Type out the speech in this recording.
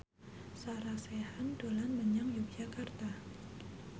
Sarah Sechan dolan menyang Yogyakarta